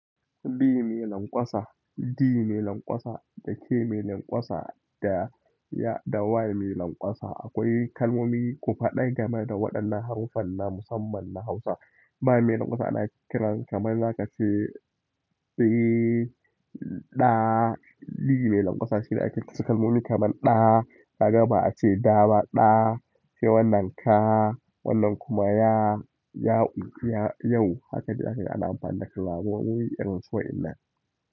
B mai lanƙwasa, D mai lanƙwasa da K mai lanƙwasa da Y da Y mai lanƙwasa. Akwai kalmomi ku faɗa game da waɗannan haruffan na musamman na Hausa. Ba mai lanƙwasa ana kiran kamar za ka ce ɓi, ɗa, D mai lanƙwasa shine ake ce kalmomi kamar ɗa, kaga ba a ce da ba ɗa, sai wannan ka, wannan kuma ya, ya yau. Haka dai ake ana amfani da kalmomi irinsu waƴannan.